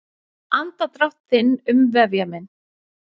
Andardrátt þinn umvefja mig.